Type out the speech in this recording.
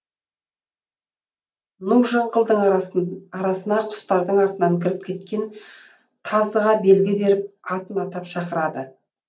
ну жыңғылдың арасына құстардың артынан кіріп кеткен тазыға белгі беріп атын атап шақырады